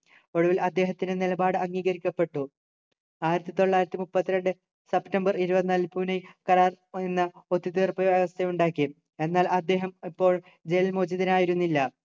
ഒടുവിൽ അദ്ദേഹത്തിൻ്റെ നിലപാട് അംഗീകരിക്കപ്പെട്ടു ആയിരത്തിതൊള്ളായിരത്തിമുപ്പത്തിരണ്ടു സെപ്റ്റംബർ ഇരുപത്തിനാലിനു പൂനെ കരാർ എന്ന ഒത്തുതീർപ്പ് വ്യവസ്ഥ ഉണ്ടാക്കി എന്നാൽ അദ്ദേഹം അപ്പോൾ ജയിൽ മോചിതനായിരുന്നില്ല